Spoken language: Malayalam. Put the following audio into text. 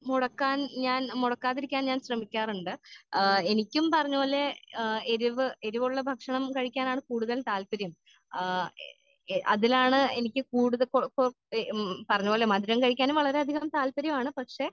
മുടക്കാൻ ഞാൻ മുടക്കാതെ ഇരിക്കാൻ ഞാൻ ശ്രെമിക്കാറ്ണ്ട്.ആ എനിക്കും പറഞ്ഞ പോലെ ആ എരിവ് എരിവുള്ള ഭക്ഷണം കഴിക്കാനാണ് കൂടുതൽ താല്പര്യം ആ എ അതിലാണ് എനിക്ക് കൂടുതൽ കോ കൊഴ ഉം പറഞ്ഞ പോലെ മധുരം കഴിക്കാനും വളരെ അധികം താല്പര്യമാണ് പക്ഷെ